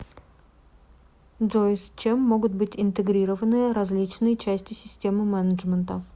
джой с чем могут быть интегрированы различные части системы менеджмента